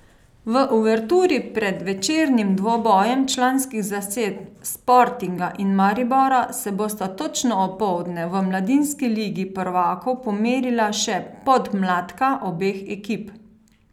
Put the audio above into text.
V uverturi pred večernim dvobojem članskih zasedb Sportinga in Maribora se bosta točno opoldne v mladinski ligi prvakov pomerila še podmladka obeh ekip.